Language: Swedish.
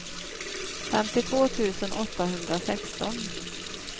femtiotvå tusen åttahundrasexton